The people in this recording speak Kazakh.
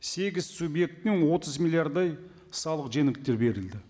сегіз субъекттің отыз миллиардтай салық жеңілдіктер берілді